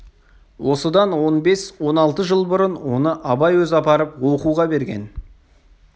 осыдан он бес он алты жыл бұрын оны абай өзі апарып оқуға берген